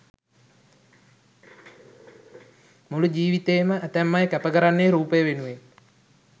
මුළු ජීවිතේ ම ඇතැම් අය කැප කරන්නේ රූපය වෙනුවෙන්.